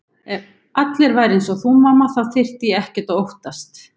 Ef allir væru einsog þú mamma þá þyrfti ég ekkert að óttast.